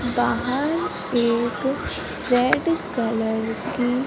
बाहर एक red colour कि--